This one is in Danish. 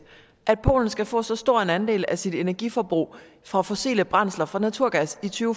at polen skal få så stor en andel af sit energiforbrug fra fossile brændsler fra naturgas i to